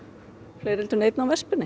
fleiri heldur en einn á